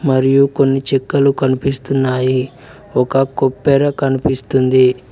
మరియు కొన్ని చెక్కలు కనిపిస్తున్నాయి ఒక కొబ్బెర కనిపిస్తుంది.